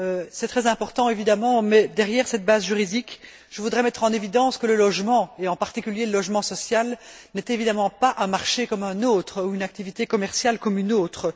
c'est très important évidemment, mais derrière cette base juridique, je voudrais mettre en évidence le fait que le logement, et en particulier le logement social, n'est évidemment pas un marché comme un autre ou une activité commerciale comme une autre.